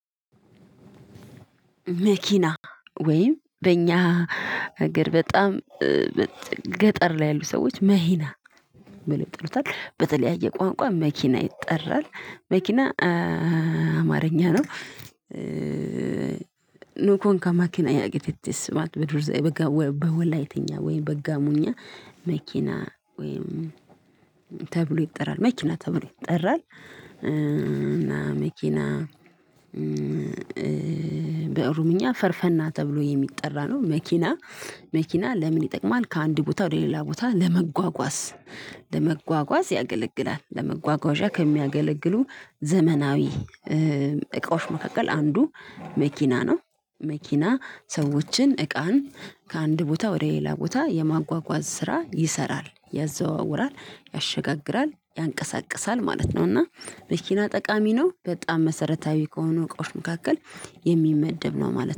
መኪና ወይም በእኛ አግር በጣም ገጠር ላይ ያሉ ሰዎች መሂና ብከው ይጠሩታል። በተለያየ ቋንቋ መኪና ይጠራል። መኪና አማርኛ ነው። ኑኮንካ መኪና ያጊቲቲስ ማለት በድሮ ዘይ በጋወ በወላይተኛ ወይ በጋሞኛ መኪና ወይ ተብሎ ይጠራል መኪና ተብሎ ይጠራል፤ እና መኪና በኦሮምኛ ፈርፈና ተብሎ የሚጠራ ነው መኪና። መኪና ለምን ይጠቅማል ከአንድ ቦታ ወደ ሌላ ቦታ ለመጓጓዝ ለመጓጓዝ ያገለግላል። ለመጓጓዣ ከሚያገለግሉ ዘመናዊ እቃዎች መካከል አንዱ መኪና ነው። መኪና ሰዎችን እቃን ከአንድ ቦታ ወደ ሌላ ቦታ የማጓጓዝ ስራ ይሰራል ያዘዋውራል፣ ያሸጋግራል፣ ያንቀሳቅሳል ማለት ነው፤ እና መኪና ጠቃሚ ነው በጣም መሰረታዊ ከሆኑ እቃዎች መካከል የሚመደብ ነው ማለት